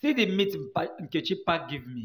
see the meat pack Nkechi pack give me.